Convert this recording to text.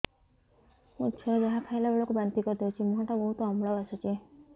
ମୋ ଛୁଆ ଯାହା ଖାଇଲା ବେଳକୁ ବାନ୍ତି କରିଦଉଛି ମୁହଁ ଟା ବହୁତ ଅମ୍ଳ ବାସୁଛି